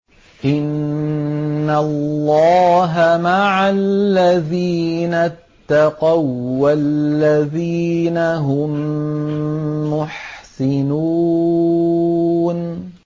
إِنَّ اللَّهَ مَعَ الَّذِينَ اتَّقَوا وَّالَّذِينَ هُم مُّحْسِنُونَ